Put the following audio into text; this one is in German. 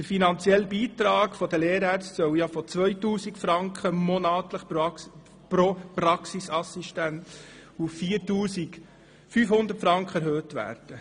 Der finanzielle Beitrag der Lehrärztinnen und Lehrärzte soll von monatlich 2000 Franken pro Praxisassistenz auf 4500 Franken erhöht werden.